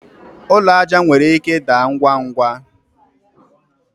ụlọ aja nwere ike daa ngwa ngwa